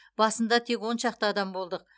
басында тек он шақты адам болдық